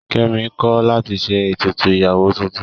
Kẹ́mi kọ̀ láti ṣe ètùtù ìyàwó tuntun.